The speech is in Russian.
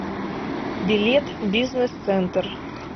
билет бизнесцентр